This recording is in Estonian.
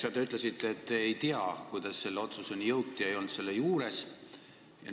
Äsja te ütlesite, et te ei tea, kuidas selle otsuseni jõuti, te ei olnud selle juures.